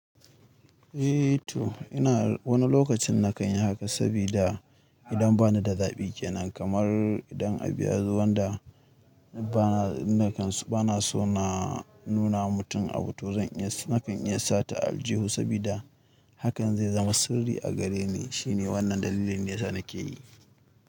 Eh to ina wani lokacin na kanyi haka sabida idan bani da zaɓi kenan, kamar idan a bu ya zo wanda bana so na nunawa mutum abu to zan iya snapi in iya sata aljihu sabida hakan zai zama sirri a gareni, shine wannan dalilin ne sa nake yi.